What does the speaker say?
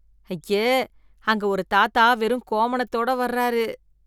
ஐயே, அங்க ஒரு தாத்தா வெறும் கோமணத்தோட வர்றாரு.